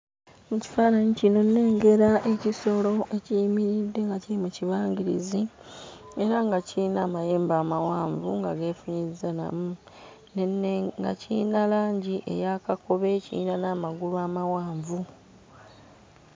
Mu kifaananyi kino nnengera ekisolo ekiyimiridde nga kiri mu kibangirizi era nga kiyina mayembe amawanvu nga geefunyizzanamu, ne nnenge nga kiyina langi eya kakobe, kiyina n'amagulu amawanvu.